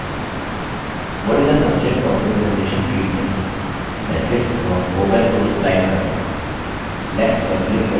what is the subject of your presentation field में benefits of open source type करें next पर click करें